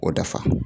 O dafa